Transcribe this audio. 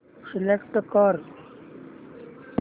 select कर